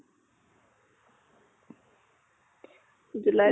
july to